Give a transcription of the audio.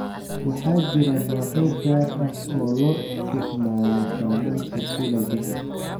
Waxaa jira noocyo gaar ah oo loo isticmaalo samaynta silage.